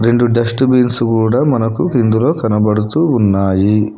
రెండు dust bins కూడా మనకు ఇందులో కనబడుతూ ఉన్నాయి.